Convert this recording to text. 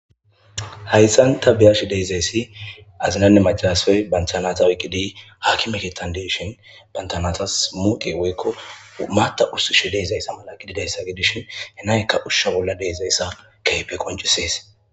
Hayssan ta biyash deezayssi azinanne macaraassey banthanata oyqqidi hakimekettan didishin bantanatas muqe woykko maatta ussishe deezayssa mala gididayssa gidishi henaykka ushsha bolla deezayssa keype koncisees.